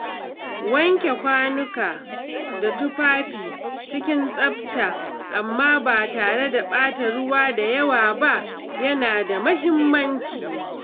Wanke kwanuka da tufafi cikin tsafta amma ba tare da ɓata ruwa da yawa ba yana da mahimmanci.